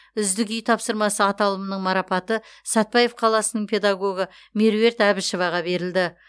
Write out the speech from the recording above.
үздік үй тапсырмасы аталымының марапаты сәтбаев қаласының педагогы меруерт әбішеваға берілді